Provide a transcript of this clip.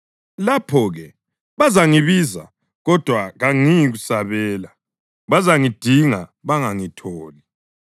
Lapho-ke bazangibiza kodwa kangiyikusabela; bazangidinga bangangitholi.